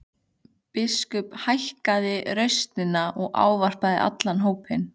Biskup hækkaði raustina og ávarpaði allan hópinn.